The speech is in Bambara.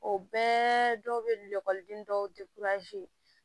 O bɛɛ dɔw bɛ dɔw